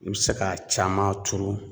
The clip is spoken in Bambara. I bɛ se k'a caman turu